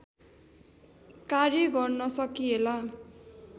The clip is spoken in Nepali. कार्य गर्न सकिएला